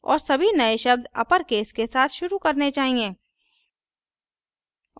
और सभी नए शब्द अपरकेस के साथ शुरू करने चाहिए